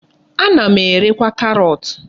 Ana m erekwa karọt.